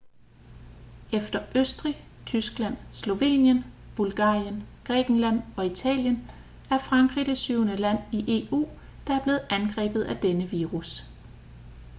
efter østrig tyskland slovenien bulgarien grækenland og italien er frankrig det syvende land i eu der er blevet angrebet af denne virus